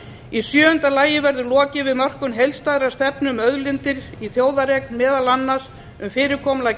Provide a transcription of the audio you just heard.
í sjöunda lagi verður lokið við mörkun heildstæðrar stefnu um auðlindir í þjóðareign meðal annars um fyrirkomulag